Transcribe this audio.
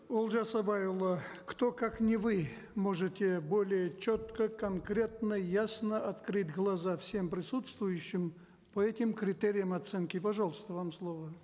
олжас абайұлы кто как не вы можете более четко конкретно ясно открыть глаза всем присутствующим по этим критериям оценки пожалуйста вам слово